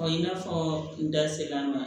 i n'a fɔ n da ser'an ma